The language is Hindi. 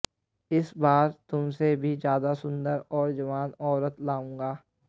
इस बार तुमसे भी ज्यादा सुन्दर और जवान औरत लाऊंगा